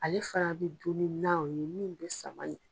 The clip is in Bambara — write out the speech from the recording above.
Ale fana bi dun ni nan o ye minnu bi samanen